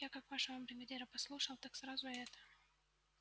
я как вашего бригадира послушал так сразу и это